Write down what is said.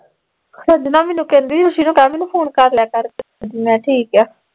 ਸਾਡੇ ਨਾ ਮੈਨੂੰ ਕਹਿੰਦੀ ਖੁਸੀ ਨੂੰ ਕਹਿ ਮੈਨੂੰ ਫੋਨ ਕਰਲਿਆ ਕਰ ਕਦੀ, ਮੈਂ ਕਿਹਾ ਠੀਕ ਆ